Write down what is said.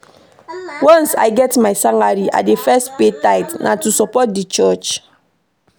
Once I get my salary, I dey first pay tithe, na to support di church.